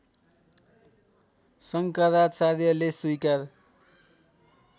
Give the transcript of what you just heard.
शङ्कराचार्यले स्वीकार